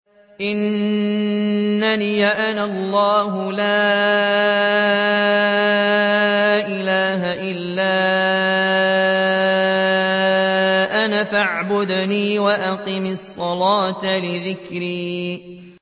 إِنَّنِي أَنَا اللَّهُ لَا إِلَٰهَ إِلَّا أَنَا فَاعْبُدْنِي وَأَقِمِ الصَّلَاةَ لِذِكْرِي